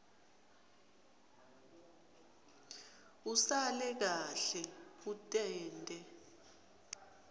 usale kahle utinte